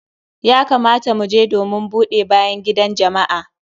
Ya kamata mu je domin buɗe bayan gidan jama'a.